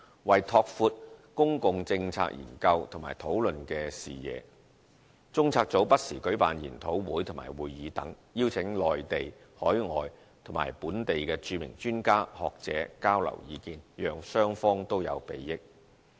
為拓闊公共政策研究及討論視野，中策組不時舉辦研討會和會議等，邀請內地、海外及本地的著名專家、學者交流意見，讓雙方都有裨益。